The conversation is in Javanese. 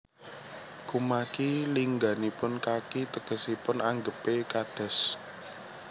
Kumaki lingganipun kaki tegesipun anggepé kados